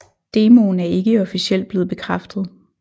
Demoen er ikke officielt blevet bekræftet